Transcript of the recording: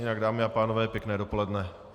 Jinak, dámy a pánové, pěkné dopoledne.